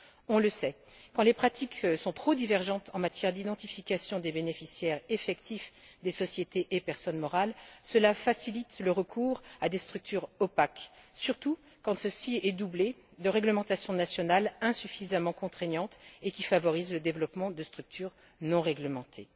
On le sait quand les pratiques sont trop divergentes en matière d'identification des bénéficiaires effectifs des sociétés et des personnes morales, cela facilite le recours à des structures opaques, surtout quand ceci est doublé de réglementations nationales insuffisamment contraignantes qui favorisent le développement de structures non réglementées.